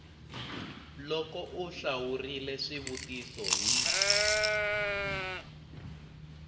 loko u hlawurile swivutiso hi